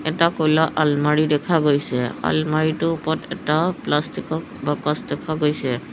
এটা ক'লা আলমাৰি দেখা গৈছে আলমাৰিটোৰ ওপৰত এটা প্লাষ্টিক ৰ বাকচ দেখা গৈছে।